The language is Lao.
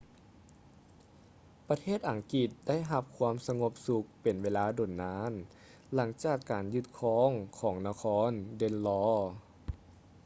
ປະເທດອັງກິດໄດ້ຮັບຄວາມສະຫງົບສຸກເປັນເວລາດົນນານ ຫຼັງຈາກການຍຶດຄືນຂອງນະຄອນ ເດນລໍ danelaw